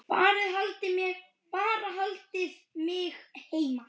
Bara haldið mig heima!